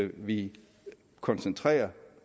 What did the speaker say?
vi koncentrerer